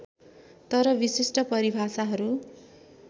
तर विशिष्ट परिभाषाहरू